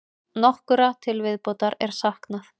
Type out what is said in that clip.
Nokkurra til viðbótar er saknað.